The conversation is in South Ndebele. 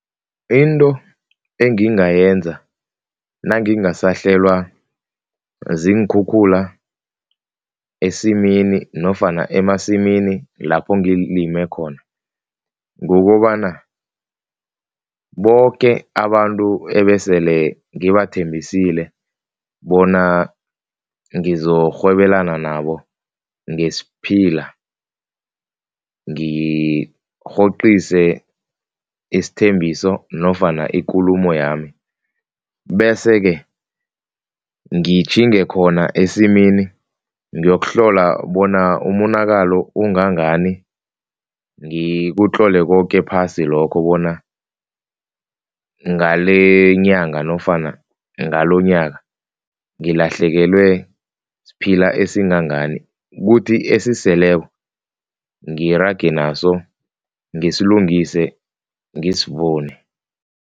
Into engingayenza nangingasahlelwa ziinkhukhula esimini nofana emasimini lapho ngilime khona, kukobana boke abantu ebesele ngibathembisile bona ngizokurhwebelana nabo ngesiphila ngirhoqise isthembiso nofana ikulumo yami bese-ke, ngitjhinge khona esimini ngiyokuhlola bona umonakalo ungangani, ngikutlolela koke phasi lokho bona, ngale nyanga nofana ngalonyaka ngilahlekelwe siphila esingangani, kuthi esiseleko ngirage naso, ngisilungise, ngisivune.